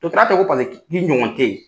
tɛ paseke ɲɔgɔn t'